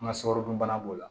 An ka sɔkɔrɔna b'o la